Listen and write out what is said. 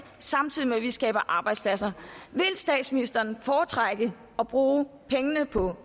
samtidig med at vi skaber arbejdspladser vil statsministeren foretrække at bruge pengene på